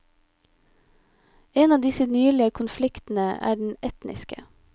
En av disse nylige konfliktene er den etniske.